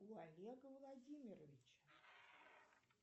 у олега владимировича